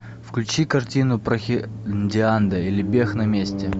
включи картину прохиндиада или бег на месте